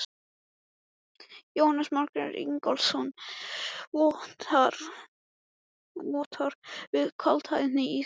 Jónas Margeir Ingólfsson: Vottar fyrir kaldhæðni í þessu?